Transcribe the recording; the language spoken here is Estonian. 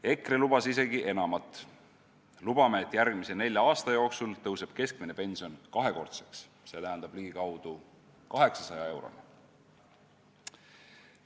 EKRE lubas isegi enamat: lubame, et järgmise nelja aasta jooksul tõuseb keskmine pension kahekordseks, st ligikaudu 800 euroni.